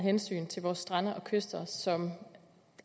hensyn til vore strande og kyster som